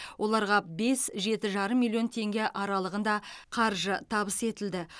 оларға бес жеті жарым миллион теңге аралығында қаржы табыс етілді